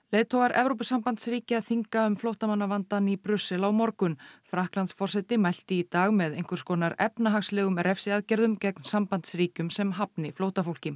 leiðtogar Evrópusambandsríkja þinga um flóttamannavandann í Brussel á morgun Frakklandsforseti mælti í dag með einhvers konar efnahagslegum refsiaðgerðum gegn sambandsríkjum sem hafni flóttafólki